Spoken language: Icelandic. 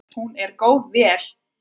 Hún er góð vél.